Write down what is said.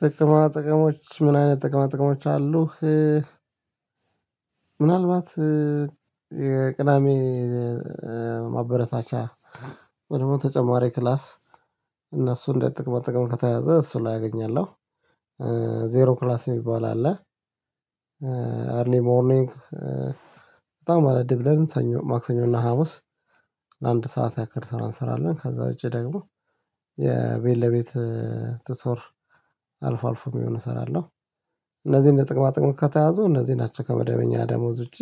ጥቅማ ጥቅሞች ምን አይነት ጥቅማ ጥቅሞች አሉህ? ምናልባት የቅዳሜ ማበረታቻ ወይም ደሞ ተጨማሪ ክላስ እነሱ እንደ ጥቅማ ጥቅም ከተያዘ እሱ ላይ አገኛለሁ፤ ዜሮ ክላስ የሚባል አለ። ሞርኒንግ በጣም አረፈድ ብለን ማክሰኞ እና ሀሙስ ለአንድ ሰዓት ያክል ሰው አንሰራለን፤ ከዛ ውጪ ደግሞ የቤት ለቤት ቱቶር አልፎ አልፎ የሚሆን እሰራለሁ። እነዚህን ለጥቅማ ጥቅም ከተያ፣ እነዚህ ናቸው ከመደበኛ ደሞዝ ውጪ